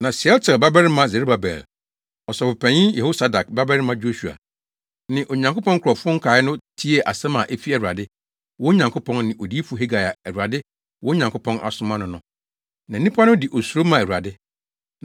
Na Sealtiel babarima Serubabel, Ɔsɔfopanyin Yehosadak babarima Yosua ne Onyankopɔn nkurɔfo nkae no tiee asɛm a efi Awurade, wɔn Nyankopɔn, ne Odiyifo Hagai a Awurade, wɔn Nyankopɔn, asoma no no. Na nnipa no de osuro maa Awurade.